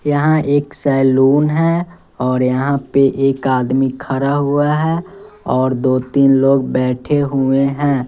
यहां एक सैलून है और यहां पे एक आदमी खड़ा हुआ है और दो तीन लोग बैठे हुए हैं।